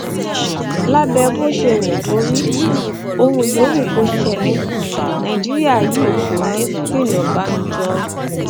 lábẹ bó ṣe wù kó rí ohun yòówù kó ṣẹlẹ nàìjíríà yìí kò ní í pìnọ̀bánujọ